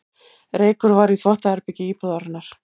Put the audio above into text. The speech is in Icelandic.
Reykur var í þvottaherbergi íbúðarinnar